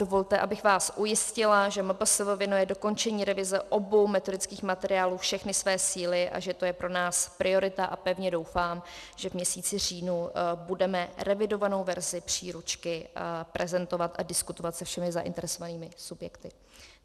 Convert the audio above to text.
Dovolte, abych vás ujistila, že MPSV věnuje dokončení revize obou metodických materiálů všechny své síly a že to je pro nás priorita, a pevně doufám, že v měsíci říjnu budeme revidovanou verzi příručky prezentovat a diskutovat se všemi zainteresovanými subjekty.